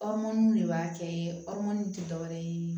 de b'a kɛ tɛ dɔwɛrɛ ye